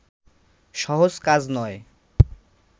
সহজ কাজ নয়